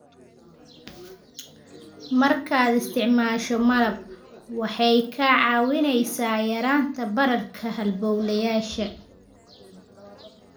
Markaad isticmaasho malab, waxay kaa caawinaysaa yaraynta bararka halbowlayaasha.